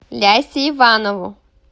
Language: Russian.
лясе иванову